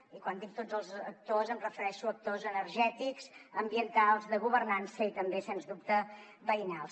i quan dic tots els actors em refereixo a actors energètics ambientals de governança i també sens dubte veïnals